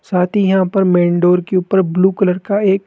साथ ही यहां पर मेन डोअर के ऊपर ब्लू कलर का एक--